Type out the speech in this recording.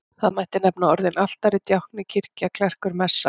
Þar mætti nefna orðin altari, djákni, kirkja, klerkur, messa.